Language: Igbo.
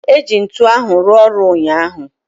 eji ntu ahu rua oru unyahu